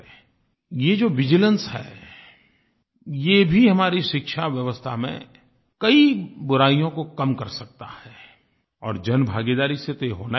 ये जो विजिलेंस है ये भी हमारी शिक्षा व्यवस्था में कई बुराइयों को कम कर सकता है और जन भागीदारी से तो ये होना ही होना है